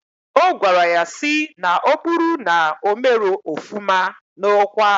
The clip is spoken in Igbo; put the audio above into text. Ogwara ya si na oburu na omero ofuma na okwa..